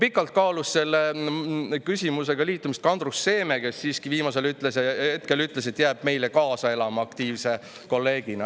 Pikalt kaalus selle liitumist ka Andrus Seeme, kes siiski viimasel hetkel ütles, et elab meile aktiivselt kaasa kolleegina.